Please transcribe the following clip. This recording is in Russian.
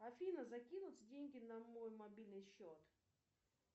афина закинуть деньги на мой мобильный счет